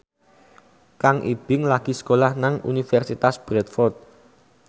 Kang Ibing lagi sekolah nang Universitas Bradford